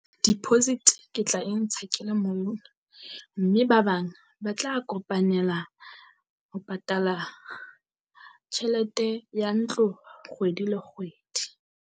Deposit ke tla e ntsha ke le mong. mme ba bang ba tla kopanela ho patala tjhelete ya ntlo kgwedi le kgwedi.